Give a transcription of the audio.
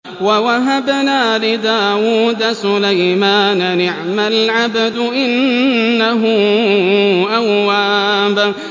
وَوَهَبْنَا لِدَاوُودَ سُلَيْمَانَ ۚ نِعْمَ الْعَبْدُ ۖ إِنَّهُ أَوَّابٌ